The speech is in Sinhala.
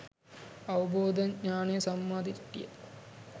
අවබෝධ ඤාණය සම්මා දිට්ඨිය